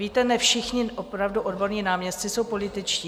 Víte, ne všichni opravdu odborní náměstci jsou političtí.